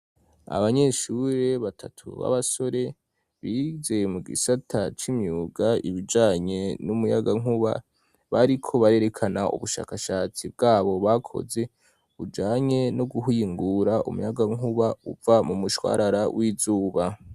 Abanyeshuri batatu b'abasore bize mu gisata c'imyuga ibijanye n'umuyagankuba bariko barerekana ubushakashatsi bwabo bakoze bujanye no guhingura umuyagankuba uva mu mushwarara w'izuba.